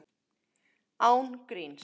Án gríns.